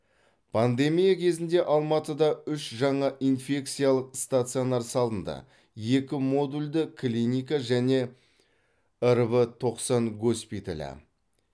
пандемия кезінде алматыда үш жаңа инфекциялық стационар салынды екі модульді клиника және рв тоқсан госпиталі